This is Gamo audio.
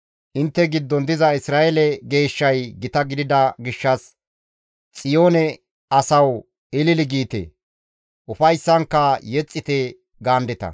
Intte giddon diza Isra7eele Geeshshay gita gidida gishshas Xiyoone asawu ilili giite; ufayssankka yexxite» gaandeta.